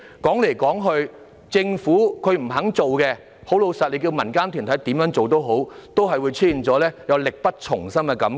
說到底，若政府不願下工夫，民間團體怎樣做也好，仍會出現力不從心的感覺。